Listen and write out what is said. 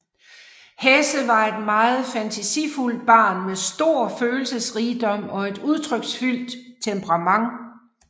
Hesse var et meget fantasifuldt barn med stor følelsesrigdom og et udtryksfuldt temperament